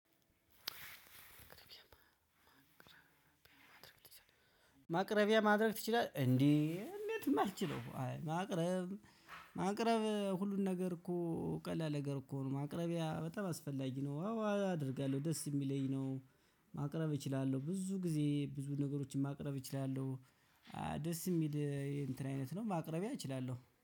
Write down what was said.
ማቅረቢያ ማድረግ ትቺላለህ እንዴ እንደትነው እማልቺለው ማቅረብ ማቅረብ ሁሉን ነገር እኮ ቀላል ነገር እኮ ነው ማቅረቢያ በጣም አስፈላጊ ነው። አዎ አደርጋለሁ ደስ የሚለኝ ነው። ማቅረብ እችላለሁ ብዙ ጊዜ ብዙ ነገሮችን ማቅረብ እችላለሁ። ደስ የሚል እንትን አይነት ነው ማቅረቢያ እችላለሁ